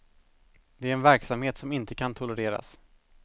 Det är en verksamhet som inte kan tolereras.